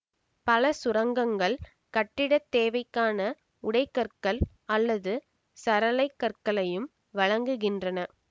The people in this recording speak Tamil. பல சுரங்கங்கள் கட்டிட தேவைக்கான உடை கற்கள் அல்லது சரளை கற்களையும் வழங்குகின்றன